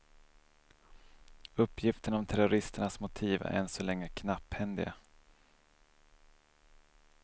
Uppgifterna om terroristernas motiv är än så länge knapphändiga.